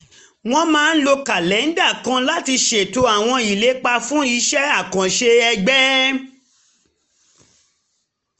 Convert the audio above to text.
wọ́n máa ń lo kàlẹ́ńdà kan láti ṣètò àwọn ìlépa fún iṣẹ́ àkànṣe ẹgbẹ́